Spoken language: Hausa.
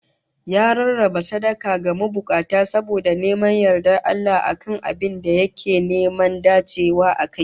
Ya rarraba sadaka ga mabukata saboda neman yardar Allah a kan abin da yake neman dacewa akai